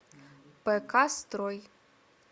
пк строй